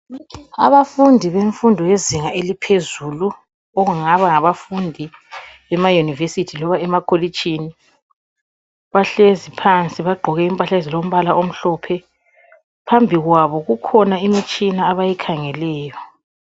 Abafundi bemfundo yezinga eliphezulu okungaba ngabafundi bamaUniversity loba emakolitshini, bahlezi phansi bagqoke impahla ezilombala omhlophe, phambi kwabo kukhona imitshina abayikhangeleyo.